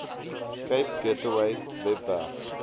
cape gateway webwerf